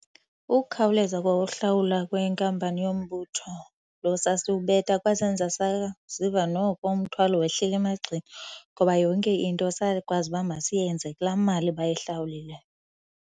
Ukukhawuleza kwa uhlawula kwenkampani yombutho loo sasiwubeka kwasenza saziva noko umthwalo wehlile emagxeni ngoba yonke into sakwazi uba masiyenze kulaa mali bayihlawulileyo.